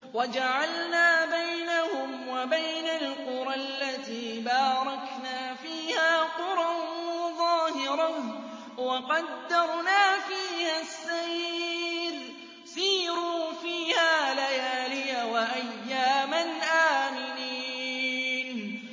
وَجَعَلْنَا بَيْنَهُمْ وَبَيْنَ الْقُرَى الَّتِي بَارَكْنَا فِيهَا قُرًى ظَاهِرَةً وَقَدَّرْنَا فِيهَا السَّيْرَ ۖ سِيرُوا فِيهَا لَيَالِيَ وَأَيَّامًا آمِنِينَ